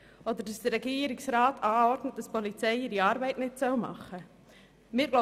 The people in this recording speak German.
Oder dass der Regierungsrat anordnet, dass die Polizei ihre Arbeit nicht machen soll?